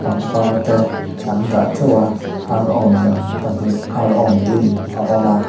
pangpar te an dah ṭeuh a arawn lem pahnih arawn lim a awm a.